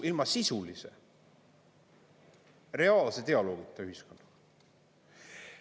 Ilma sisulise reaalse dialoogita ühiskond.